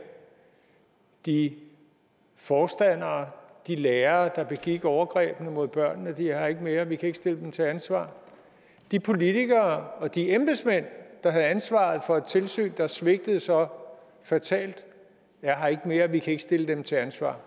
de forstandere de lærere der begik overgrebene mod børnene er her ikke mere vi kan ikke stille dem til ansvar de politikere og de embedsmænd der havde ansvaret for et tilsyn der svigtede så fatalt er her ikke mere vi kan ikke stille dem til ansvar